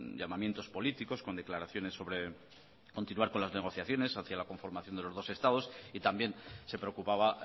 llamamientos políticos con declaraciones sobre continuar con las negociaciones hacia la conformación de los dos estados y también se preocupaba